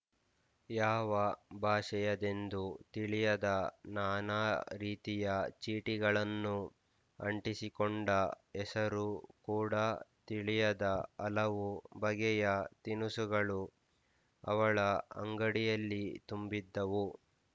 ಯಾವ ಭಾಷೆಯದೆಂದೂ ತಿಳಿಯದ ನಾನಾ ರೀತಿಯ ಚೀಟಿಗಳನ್ನು ಅಂಟಿಸಿಕೊಂಡ ಹೆಸರೂ ಕೂಡ ತಿಳಿಯದ ಹಲವು ಬಗೆಯ ತಿನುಸುಗಳು ಅವಳ ಅಂಗಡಿಯಲ್ಲಿ ತುಂಬಿದ್ದವು